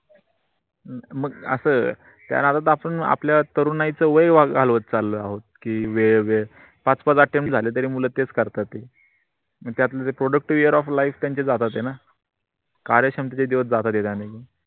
मग अस दसून आपल्या तरुणाईचं वय घालवत चाल आहोत कि वेळ पाच पाच ॲटम झाल तरी मुल तेच करतात त्यातल productive year of life त्यांचे जात होतेन कार्यक्षमतेचे दिवस जात होते त्यांनी